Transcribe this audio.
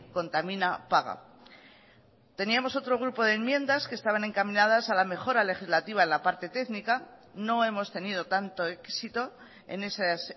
contamina paga teníamos otro grupo de enmiendas que estaban encaminadas a la mejora legislativa en la parte técnica no hemos tenido tanto éxito en esas